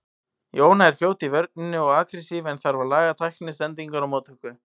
Jóna er fljót í vörninni og agressív en þarf að laga tækni, sendingar og móttöku.